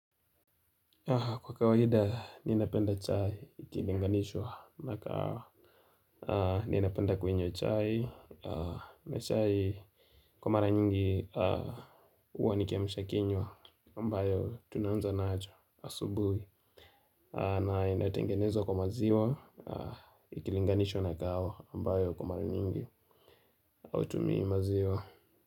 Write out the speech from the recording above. Kwa kawaida, ninapenda chai ikilinganishwa na kahawa. Ninapenda kunywa chai. Na chai kwa mara nyingi huwa ni kiamsha kinywa ambayo tunaanza nacho asubuhi. Na inatengenezwa kwa maziwa ikilinganishwa na kahawa. Ambayo kwa mara nyingi hautimiimaziwa.